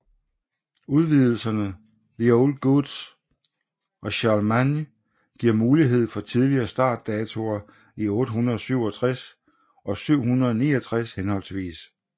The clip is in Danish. Udvidelserne The Old Gods og Charlemagne giver mulighed for tidligere start datoer i 867 og 769 henholdsvis